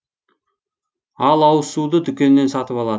ал ауызсуды дүкеннен сатып алады